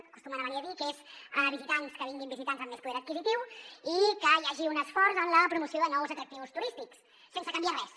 acostumen a venir a dir que vinguin visitants amb més poder adquisitiu i que hi hagi un esforç en la promoció de nous atractius turístics sense canviar res